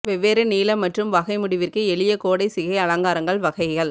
வெவ்வேறு நீளம் மற்றும் வகை முடிவிற்கு எளிய கோடை சிகை அலங்காரங்கள் வகைகள்